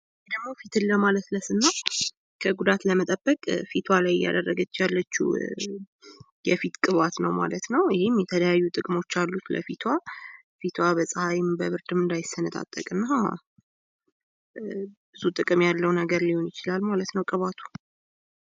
ይህ ደሞ ፊትን ለማለስለስ እና ከጉዳት ለመጠበቅ ፊቷ ላይ እያደረገች ያለቺው የፊት ቅባት ማለት ነው። ይህም የተለያዩ ጥቅሞች አሉት ለፊቷ ፊቷ በፀሀይም በብርድም እንዳይሰነጣጠቅ እና ብዙ ጥቅም ያለው ነገር ሊሆን ይችላል ማለት ነው ቅባቱ።